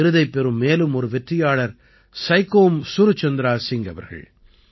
விருதைப் பெறும் மேலும் ஒரு வெற்றியாளர் சைகோம் சுர்சந்திரா சிங் அவர்கள்